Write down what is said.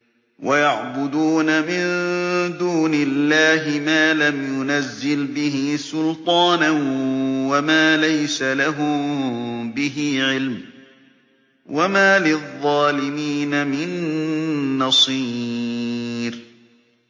وَيَعْبُدُونَ مِن دُونِ اللَّهِ مَا لَمْ يُنَزِّلْ بِهِ سُلْطَانًا وَمَا لَيْسَ لَهُم بِهِ عِلْمٌ ۗ وَمَا لِلظَّالِمِينَ مِن نَّصِيرٍ